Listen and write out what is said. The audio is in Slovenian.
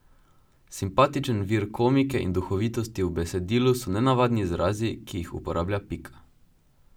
Simpatičen vir komike in duhovitosti v besedilu so nenavadni izrazi, ki jih uporablja Pika.